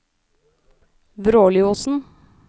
Vråliosen